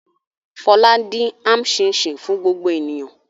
Fọlá dín am ṣíín-ṣiìn fún gbogbo ènìyàn.